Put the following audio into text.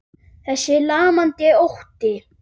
Þessi lamandi ótti.